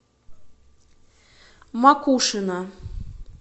макушино